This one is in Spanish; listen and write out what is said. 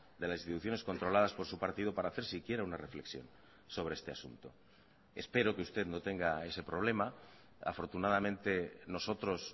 de las instituciones controladas por su partido para hacer siquiera una reflexión sobre este asunto espero que usted no tenga ese problema afortunadamente nosotros